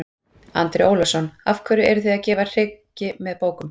Andri Ólafsson: Af hverju eruð þið að gefa hryggi með bókum?